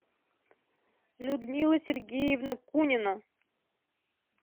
людмила сергеевна кунина